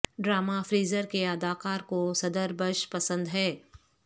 drama Frasier کے اداکار کو صدر بش پسند ہیں